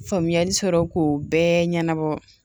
Faamuyali sɔrɔ k'o bɛɛ ɲɛnabɔ